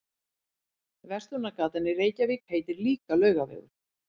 Verslunargatan í Reykjavík heitir líka Laugavegur.